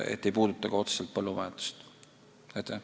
Nii et otseselt põllumajandust see ei puuduta.